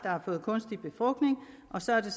har fået kunstig befrugtning og så har det